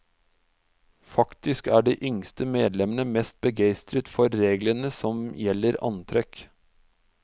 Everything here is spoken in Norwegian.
Faktisk er de yngste medlemmene mest begeistret for reglene som gjelder antrekk.